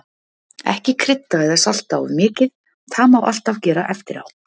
Ekki krydda eða salta of mikið, það má alltaf gera eftirá.